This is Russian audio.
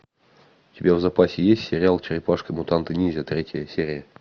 у тебя в запасе есть сериал черепашки мутанты ниндзя третья серия